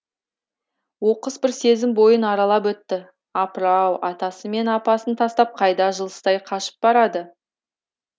оқыс бір сезім бойын аралап өтті апыр ау атасы мен апасын тастап қайда жылыстай қашып барады